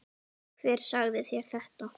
Hver sagði þér þetta?